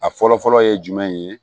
A fɔlɔ fɔlɔ ye jumɛn ye